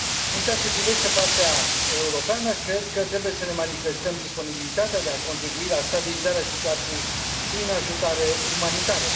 În ceea ce privește partea europeană, cred că trebuie să ne manifestăm disponibilitatea de a contribui la stabilizarea situației prin ajutoare umanitare.